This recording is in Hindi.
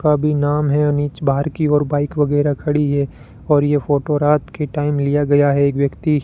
का भी नाम है अनीच बाहर की ओर बाइक वगैरह खड़ी है और यह फोटो रात के टाइम लिया गया है एक